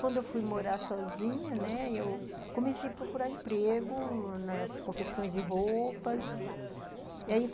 Quando fui morar sozinha, né, comecei a procurar emprego nas confecções de roupas e aí